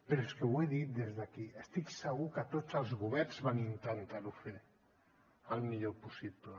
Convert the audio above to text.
però és que ho he dit des d’aquí estic segur que tots els governs van intentar ho fer el millor possible